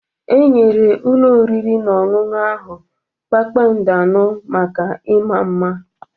Enyere ụlọ oriri na ọṅụṅụ ahụ kpakpando anọ maka ịma mma.